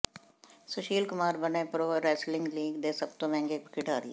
ਸੁਸ਼ੀਲ ਕੁਮਾਰ ਬਣੇ pro wrestling league ਦੇ ਸਭ ਤੋਂ ਮਹਿੰਗੇ ਖਿਡਾਰੀ